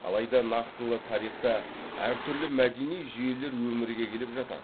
алайда нақтылы тарихта әртүрлі мәдени жүйелер өмірге келіп жатады